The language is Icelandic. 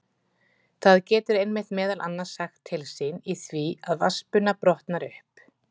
Það getur einmitt meðal annars sagt til sín í því að vatnsbuna brotnar upp.